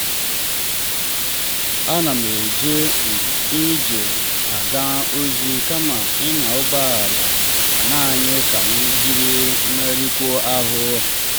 m na-eje um ije aga ozi kama ịnya ụgbọ ala naanị ka m jiri megharịkwuo ahụ.